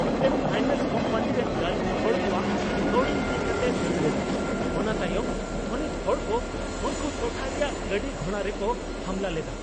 ᱢᱤᱫᱴᱟᱝ finance company ᱨᱮᱱ ᱜᱟᱹᱞᱤᱢ ᱦᱚᱲ ᱠᱚᱣᱟᱜ ᱠᱟᱣᱰᱤ ᱤᱫᱤ ᱠᱟᱛᱮᱫ ᱫᱟᱹᱲ ᱞᱮᱫᱟ, ᱚᱱᱟ ᱛᱟᱭᱚᱢ ᱛᱷᱟᱹᱱᱤᱛ ᱦᱚᱲ ᱠᱚ ᱩᱱᱠᱩ ᱴᱚᱴᱷᱟ ᱨᱮᱭᱟᱜ ᱜᱟᱹᱰᱤ ᱜᱷᱚᱲᱟ ᱨᱮᱠᱚ ᱦᱟᱢᱞᱟ ᱞᱮᱫᱟ ᱾